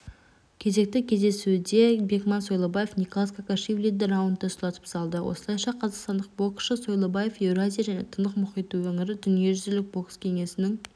кезекті кездесуде бекман сойлыбаев николоз кокашвилиді раундта сұлатып салды осылайша қазақстандық боксшы сойлыбаев еуразия және тынық мұхиты өңірі дүниежүзілік бокс кеңесінің